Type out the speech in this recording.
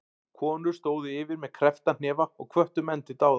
Konur stóðu yfir með kreppta hnefa og hvöttu menn til dáða.